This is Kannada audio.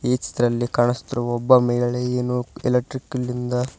ಈ ಚಿತ್ರದಲ್ಲಿ ಕಾಣಿಸುತ್ತಿರುವ ಒಬ್ಬ ಮಹಿಳೆ ಏನೋ ಎಲೆಕ್ಟ್ಕ್ರಿಕಲ್ನಿಂದ--